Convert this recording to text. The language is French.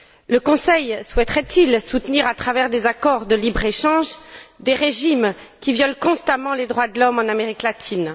Le Conseil souhaiterait il soutenir à travers des accords de libre échange des régimes qui violent constamment les droits de l'homme en Amérique latine?